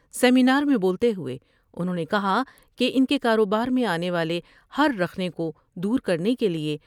seminar میں بولتے ہوۓ انہوں نے کہا کہ ان کے کاروبار میں آنے والے ہر رخنہ کو دور کرنےکے لئے